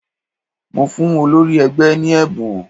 Mo fún olórí ẹgbẹ́ ní ẹ̀bùn